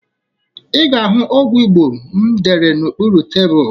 Ị ga-ahụ ọgwụ Igbo m debere n'okpuru tebulu